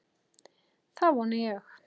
Það vona ég